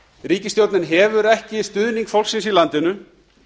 ríkisstjórnin hefur ekki stuðning fólksins í landinu